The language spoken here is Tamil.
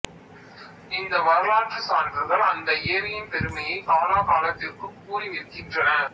இந்த வரலாற்றுச் சான்றுகள் அந்த ஏரியின் பெருமையை காலகாலத்துக்கும் கூறி நிற்கின்றன